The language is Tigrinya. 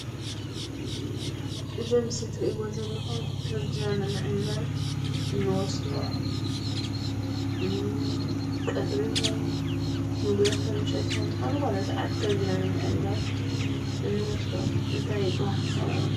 እዚ ኣብ ምስሊ ትርእዎ ዘለኩም ከብድና ንምዕንጋል እንወስዶ ቀትሪ ይኩን ንጉሆ ፣ምሽት ይኩን ኣብ ዝኮነ ስዓት ከብድና ንምዕንጋል እንወስዶ እንታይ ይብሃል?